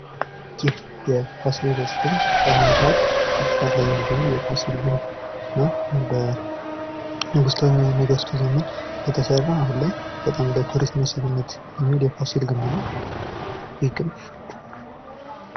ይህ የፋሲለደስ ግንብ በአሁኑ ሰአት እየተሰራ የሚገኘው የፋሲል ግንብ ነው። ይህም በንጉሠነገስቱ ዘመን የተሰራ አሁን ላይ በጣም ለቱሪስት መስህብነት የሚውል የፋሲል ግንብ ነው ይህ ግንብ።